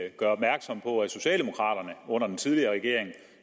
at gøre opmærksom på at socialdemokraterne under den tidligere regering